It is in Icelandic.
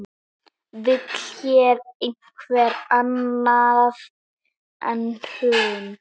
Vill hér einhver annað hrun?